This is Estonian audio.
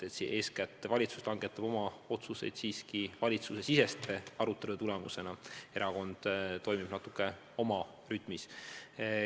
Eeskätt langetab valitsus oma otsused siiski valitsusesisese arutelu tulemusena, erakond toimib omas rütmis.